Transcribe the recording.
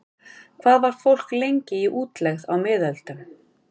Hvað var fólk lengi í útlegð á miðöldum?